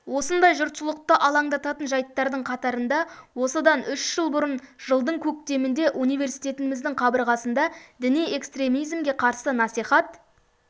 осындай жұртшылықты алаңдататын жайттардың қатарында осыдан үш жыл бұрын жылдың көктемінде университетіміздің қабырғасында діни экстремизмге қарсы насихат